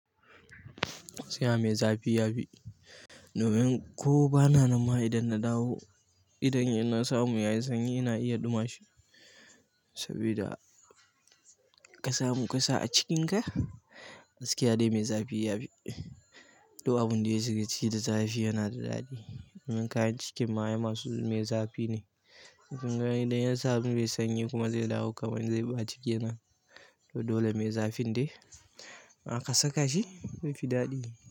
Gaskiya me zafi yafi, domin ko bana nan ma idan na dawo, idan na samu yayi sanyi ina iya duma shi saboda ka samu ƙasa a cikinka gaskiya dai me zafi yafi. Duk abinda ya shiga ciki da zafi yanada daɗi domin kayan cikin ma ai masu me zafi ne. Idan ya samu mai sanyi kuma zai dawo kamar zai ɓaci kenan. To dole me zafin dai in aka saka shi zai fi daɗi.